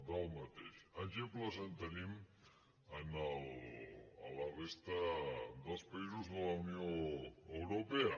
d’exemples en tenim a la resta dels països de la unió europea